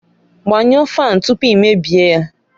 Gbanyụọ fáan tupu i mebie ya